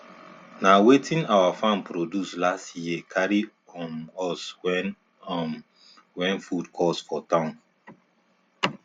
na wetin our farm produce last year carry um us when um when food cost for town